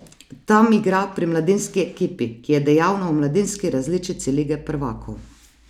Tam igra pri mladinski ekipi, ki je dejavna v mladinski različici lige prvakov.